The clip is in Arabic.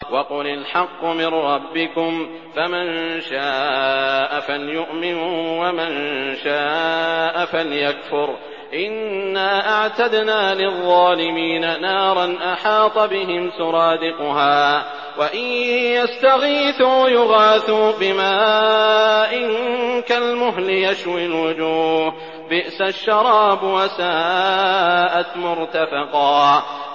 وَقُلِ الْحَقُّ مِن رَّبِّكُمْ ۖ فَمَن شَاءَ فَلْيُؤْمِن وَمَن شَاءَ فَلْيَكْفُرْ ۚ إِنَّا أَعْتَدْنَا لِلظَّالِمِينَ نَارًا أَحَاطَ بِهِمْ سُرَادِقُهَا ۚ وَإِن يَسْتَغِيثُوا يُغَاثُوا بِمَاءٍ كَالْمُهْلِ يَشْوِي الْوُجُوهَ ۚ بِئْسَ الشَّرَابُ وَسَاءَتْ مُرْتَفَقًا